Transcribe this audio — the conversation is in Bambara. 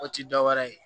O ti dɔwɛrɛ ye